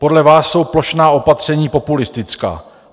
Podle vás jsou plošná opatření populistická.